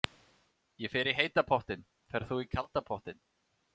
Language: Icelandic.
Ég fer í heita pottinn. Ferð þú í kalda pottinn?